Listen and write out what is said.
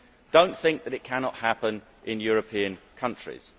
Do not think that it cannot happen in European countries.